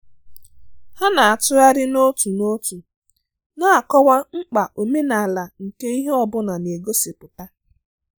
Ha na-atụgharị n'otu n'otu na-akọwa mkpa omenala nke ihe ọ bụla a na-egosipụta